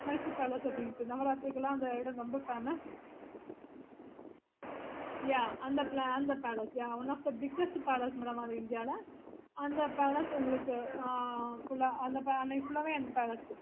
mysore palace அந்த இடம் ரொம்ப famousyah அந்த palace one of the biggest palace madam அது india ல